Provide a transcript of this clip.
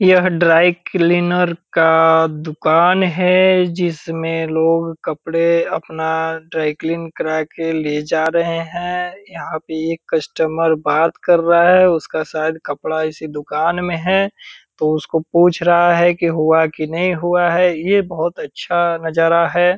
यह dry cleaner का दुकान है जिसमें लोग कपड़े अपना ड्राई क्लीन करा के ले जा रहें हैं। यहाँ पे एक कस्टमर बात कर रहा है। उसका शायद कपड़ा इसी दुकान में है तो उसको पूछ रहा है की हुआ की नहीं हुआ है। ये बहुत अच्छा नजारा है।